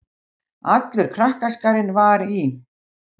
Allur krakkaskarinn var í